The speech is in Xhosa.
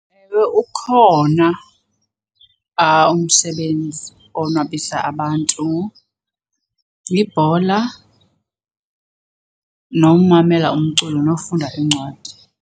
Ewe, ukhona umsebenzi owonwabisa abantu. Yibhola, nomamela umculo, nofunda iincwadi.